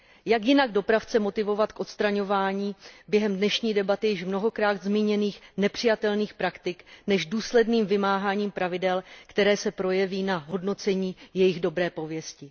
Jak jinak dopravce motivovat k odstraňování během dnešní debaty již mnohokrát zmíněných nepřijatelných praktik než důsledným vymáháním pravidel, které se projeví na hodnocení jejich dobré pověsti.